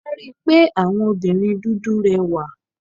A rí pé àwọn obìnrin dúdú rẹwà.